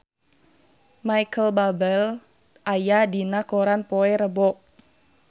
Micheal Bubble aya dina koran poe Rebo